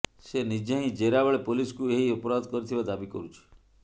ସେ ନିଜେ ହିଁ ଜେରା ବେଳେ ପୋଲିସକୁ ଏହି ଅପରାଧ କରିଥିବା ଦାବି କରୁଛି